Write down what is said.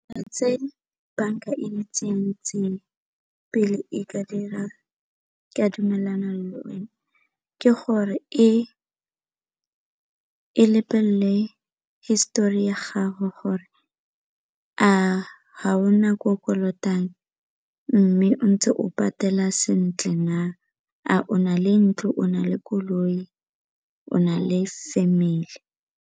Tse banka e di itseng pele e ka dira ka dumelana le one ke gore e lebelele hisetori ya gago gore a ga o na ko o kolotang mme o ntse o patela sentle na, a o na le ntlo, o na le koloi, o na le family?